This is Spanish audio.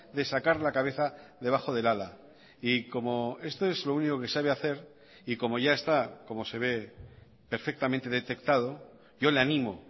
de sacar la cabeza debajo del ala y como esto es lo único que sabe hacer y como ya está como se ve perfectamente detectado yo le animo